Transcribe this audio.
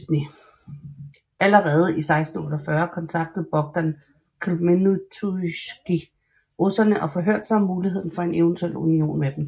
Allerede i 1648 kontaktede Bogdan Khmelnytskij russerne og forhørte sig om muligheden for en eventuel union med dem